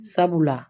Sabula